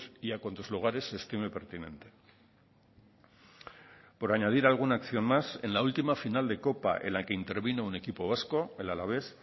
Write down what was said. y a cuantos lugares se estime pertinente por añadir alguna acción más en la última final de copa en la que intervino un equipo vasco el alavés